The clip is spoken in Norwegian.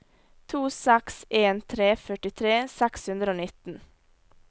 to seks en tre førtitre seks hundre og nitten